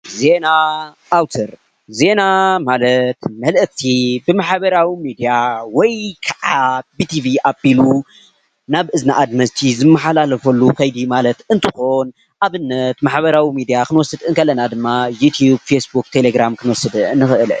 ዜና ኣውተር፦ ዜና ማለት መልእክቲ ብማሕበራዊ ሚድያ ወይ ካዓ ብቲቪ ኣብሉ ናብ እዝኒ ኣድመፅቲ ዝመሓላለፈሉ ከይዲ ማለት ፤እንትኮን ኣብነት ማሕበራዊ ሚድያ ክንወስድ ከለና ካዓ ዩቱፕ፣ ፌስቡክ፣ ቴሌግራም ክንወስድ ንክእል።